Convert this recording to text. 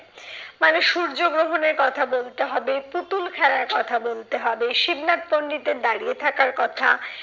মানে সূর্যগ্রহণের কথা বলতে হবে পুতুল খেলার কথা বলতে হবে। শিবনাথ পন্ডিতের দাঁড়িয়ে থাকার কথা